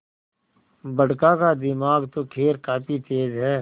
बड़का का दिमाग तो खैर काफी तेज है